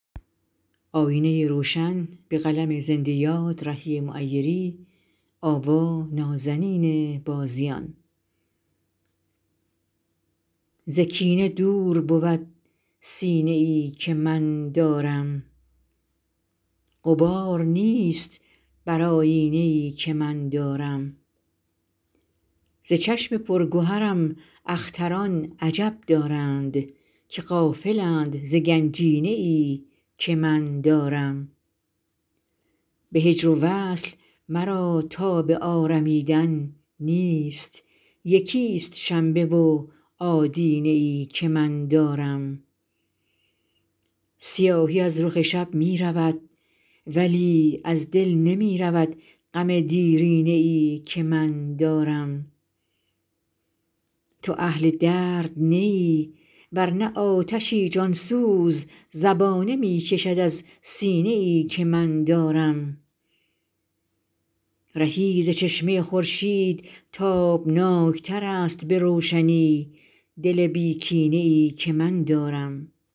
ز کینه دور بود سینه ای که من دارم غبار نیست بر آیینه ای که من دارم ز چشم پرگهرم اختران عجب دارند که غافلند ز گنجینه ای که من دارم به هجر و وصل مرا تاب آرمیدن نیست یکی ست شنبه و آدینه ای که من دارم سیاهی از رخ شب می رود ولی از دل نمی رود غم دیرینه ای که من دارم تو اهل درد نه ای ورنه آتشی جان سوز زبانه می کشد از سینه ای که من دارم رهی ز چشمه خورشید تابناک تر است به روشنی دل بی کینه ای که من دارم